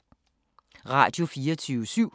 Radio24syv